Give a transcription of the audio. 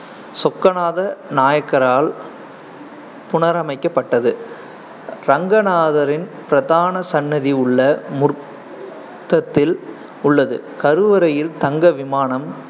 சொக்கநாத நாயக்கரால் புணரமைக்கப்பட்டது ரங்கநாதரின் பிரதான சன்னதி உள்ள முற்றத்தில் உள்ளது. கருவறையில் தங்க விமானம்